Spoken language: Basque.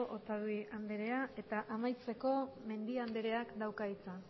otadui andrea eta amaitzeko mendia andreak dauka hitza